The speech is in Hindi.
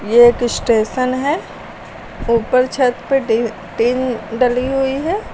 ये एक स्टेशन है ऊपर छत पे टी टीन डली हुई है।